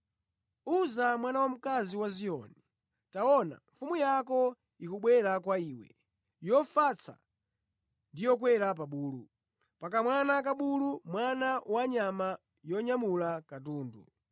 “Uza mwana wamkazi wa Ziyoni, taona, mfumu yako ikubwera kwa iwe, yofatsa ndi yokwera pa bulu, pa kamwana ka bulu, mwana wa nyama yonyamula katundu.”